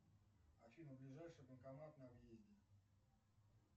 афина ближайший банкомат на въезде